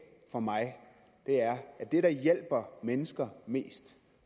for mig er at det der hjælper mennesker mest